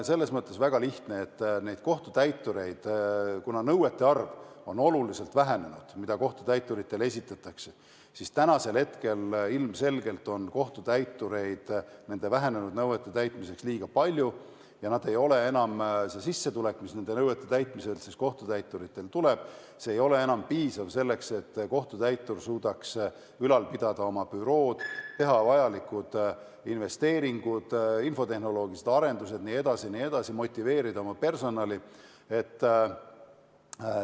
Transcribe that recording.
Probleem on väga lihtne: kuna kohtutäituritele esitatavate nõuete arv on oluliselt vähenenud, siis on ilmselgelt kohtutäitureid nende vähenenud nõuete täitmiseks liiga palju ja sissetulek, mida nende nõuete täitmine kohtutäituritele annab, ei ole enam piisav selleks, et kohtutäitur suudaks oma bürood ülal pidada, teha vajalikud investeeringud, infotehnoloogilised arendused jne, samuti motiveerida oma personali.